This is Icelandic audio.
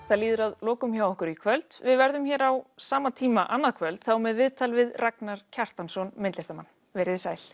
það líður að lokum hjá okkur í kvöld við verðum hér aftur á sama tíma annað kvöld þá með viðtal við Ragnar Kjartansson myndlistarmann veriði sæl